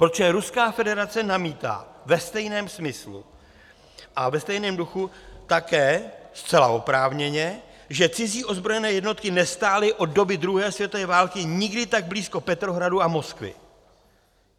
Protože Ruská federace namítá ve stejném smyslu a ve stejném duchu také zcela oprávněně, že cizí ozbrojené jednotky nestály od doby druhé světové války nikdy tak blízko Petrohradu a Moskvy.